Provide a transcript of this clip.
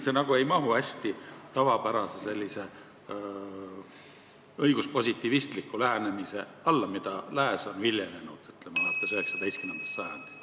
See nagu ei mahu tavapärase õiguspositivistliku lähenemise alla, mida lääs on viljelenud alates 19. sajandist.